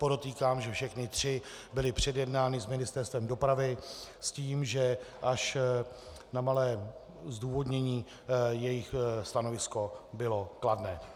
Podotýkám, že všechny tři byly předjednány s Ministerstvem dopravy s tím, že až na malé zdůvodnění jejich stanovisko bylo kladné.